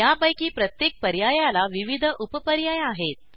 यापैकी प्रत्येक पर्यायाला विविध उप पर्याय आहेत